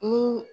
Ni